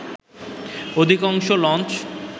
অধিকাংশ লঞ্চ